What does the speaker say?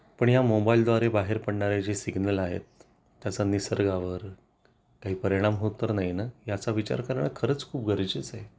पण या मोबाईलद्वारे बाहेर पडणारे जे सिग्नल आहेत त्याचा निसर्गावर काही परिणाम होत तर नाही ना याचा विचार करणं खरंच खूप गरजेचे आहे